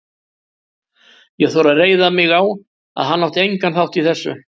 Ég þori að reiða mig á, að hann á engan þátt í þessu.